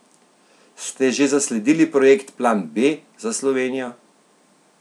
Ste že zasledili projekt Plan B za Slovenijo?